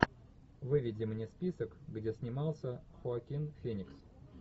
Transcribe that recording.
выведи мне список где снимался хоакин феникс